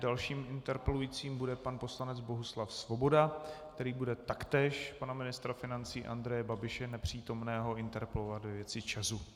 Dalším interpelujícím bude pan poslanec Bohuslav Svoboda, který bude taktéž pana ministra financí Andreje Babiše - nepřítomného - interpelovat ve věci ČEZu.